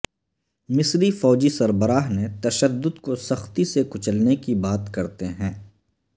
مصری فوجی سربراہ نے تشدد کو سختی سے کچلنے کی بات کرتے ہیں